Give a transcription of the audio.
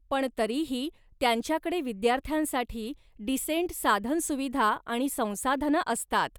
पण तरीही त्यांच्याकडे विद्यार्थ्यांसाठी डिसेंट साधनसुविधा आणि संसाधनं असतात.